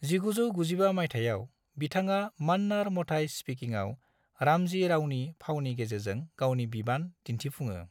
1995 मायथाइयाव, बिथाङा मान्नार मथाई स्पीकिंआव रामजी रावनि फावनि गेजेरजों गावनि बिबान दिन्थिफुङो।